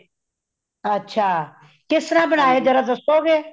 ਅੱਛਾ ਕੇਸਤ੍ਰਾ ਬਣਾਏ ਜਰਾ ਦੱਸੋ ਗੇ।